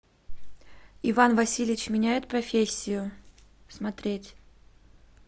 иван васильевич меняет профессию смотреть